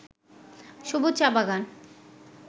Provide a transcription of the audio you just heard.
সবুজ চা-বাগান